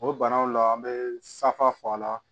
O banaw la an be safa fɔ a la